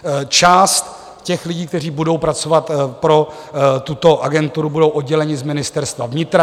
Část těch lidí, kteří budou pracovat pro tuto agenturu, bude oddělena z Ministerstva vnitra.